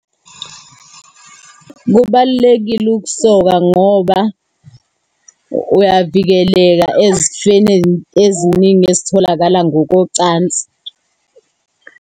Kubalulekile ukusoka ngoba uyavikeleka ezifeni eziningi ezitholakala ngokocansi.